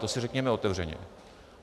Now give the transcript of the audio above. To si řekněme otevřeně.